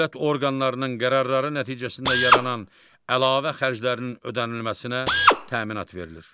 Dövlət orqanlarının qərarları nəticəsində yaranan əlavə xərclərinin ödənilməsinə təminat verilir.